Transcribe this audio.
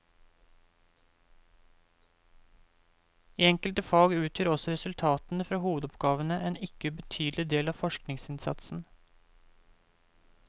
I enkelte fag utgjør også resultatene fra hovedoppgavene en ikke ubetydelig del av forskningsinnsatsen.